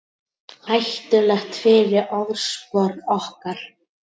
Hættulegt fyrir orðspor okkar